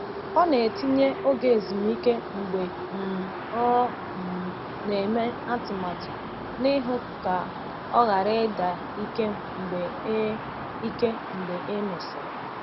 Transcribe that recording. Ọ na-etinye oge ezumike mgbe um ọ um na-eme atụmatụ n’ihu ka o ghara ịda ike mgbe e ike mgbe e mesịrị.